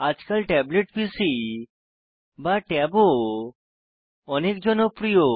আজকাল tablet PC বা ট্যাবও অনেক জনপ্রিয়